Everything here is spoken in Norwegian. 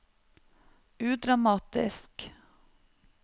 udramatisk